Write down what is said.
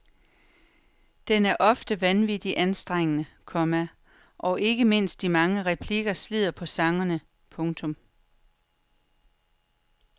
Den er ofte vanvittigt anstrengende, komma og ikke mindst de mange replikker slider på sangerne. punktum